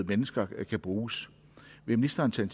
mennesker kan bruges vil ministeren tage